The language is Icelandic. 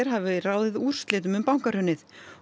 hafi ráðið úrslitum um bankahrunið